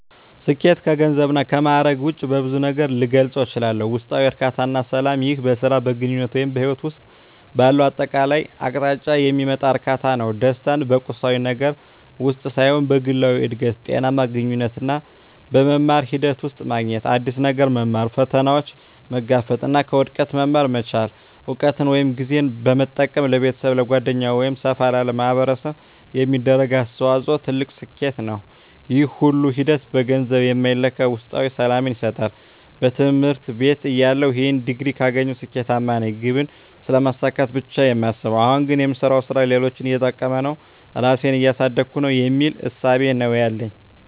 ስኬት ከገንዘብ እና ከማእረግ ውጭ በብዙ ነገር ልገልፀው እችላልሁ። ውስጣዊ እርካታ እና ሰላም ይህ በሥራ፣ በግንኙነት ወይም በሕይወት ውስጥ ባለው አጠቃላይ አቅጣጫ የሚመጣ እርካታ ነው። ደስታን በቁሳዊ ነገር ውስጥ ሳይሆን በግላዊ እድገት፣ ጤናማ ግንኙነቶች እና በመማር ሂደት ውስጥ ማግኘት። አዲስ ነገር መማር፣ ፈተናዎችን መጋፈጥ እና ከውድቀት መማር መቻል። እውቀትን ወይም ጊዜን በመጠቀም ለቤተሰብ፣ ለጓደኞች ወይም ሰፋ ላለ ማኅበረሰብ የሚደረግ አስተዋጽኦ ትልቅ ስኬት ነው። ይህ ሁሉ ሂደት በገንዘብ የማይለካ ውስጣዊ ሰላምን ይሰጣል። በትምህርት ቤትተያለሁ "ይህን ዲግሪ ካገኘሁ ስኬታማ ነኝ" ግብን ስለማሳካት ብቻ ነው የማስበው። አሁን ግን "የምሰራው ሥራ ሌሎችን እየጠቀመ ነው? ራሴን እያሳደግኩ ነው?" የሚል እሳቤ ነው ያለኝ።